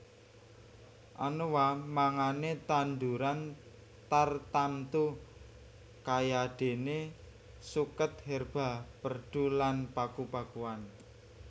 Anoa mangane tanduran tartamtu kayadene suket herba perdu lan paku pakuan